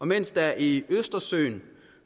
mens der i østersøen